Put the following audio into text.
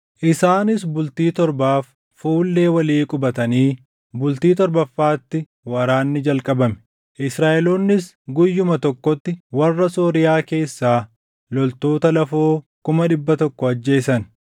Isaanis bultii torbaaf fuullee walii qubatanii, bultii torbaffaatti waraanni jalqabame. Israaʼeloonnis guyyuma tokkotti warra Sooriyaa keessaa loltoota lafoo kuma dhibba tokko ajjeesan.